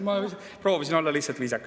" Ma proovisin olla lihtsalt viisakas.